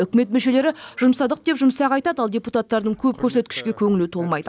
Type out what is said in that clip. үкімет мүшелері жұмсадық деп жұмсақ айтады ал депутаттардың көп көрсеткішке көңілі толмайды